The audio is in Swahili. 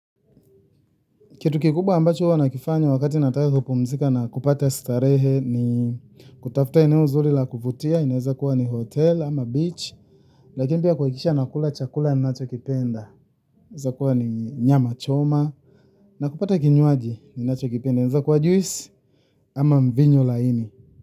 Kitu kikubwa ambacho wanakifanya wakati wanapokuwa wamepumzika na kupata starehe ni kutafuta eneo zuri la kufurahia, linaweza kuwa ni hoteli ama ufukweni, lakini pia kuhakikisha wanakula chakula ninachokipenda, kinaweza kuwa nyama choma, na kupata kinywaji wanachokipenda, kinaweza kuwa juisi. Ama mvinyo laini.